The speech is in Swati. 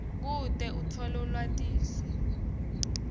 kute utfole lwatiso